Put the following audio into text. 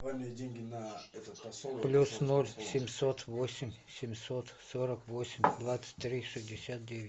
плюс ноль семьсот восемь семьсот сорок восемь двадцать три шестьдесят девять